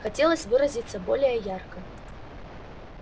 хотелось выразиться более ярко